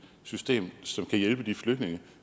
system som kan hjælpe de flygtninge